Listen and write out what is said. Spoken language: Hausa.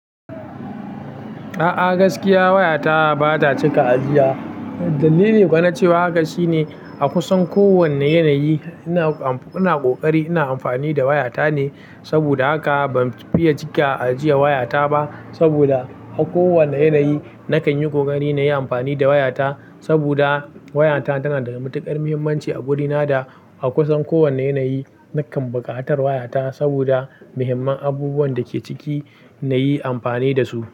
A'a gaskiya wayata ba ta cika ajiya. Dalili kuma na cewa haka shine a kusan kowanne yanayi ina ƙoƙari ina amfani da wayata ne. Saboda haka ban fiye cika ajiye waya taba. Saboda a kowane yanayi nakanyi ƙoƙari nayi amfani da wayata. Saboda wayata tana da matuƙar muhimmanci a wurina da a kusan kowane yanayi nakan buƙatar wayata saboda muhimman abubuwan da ke ciki na yi amfani da su.